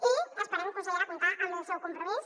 i esperem consellera comptar amb el seu compromís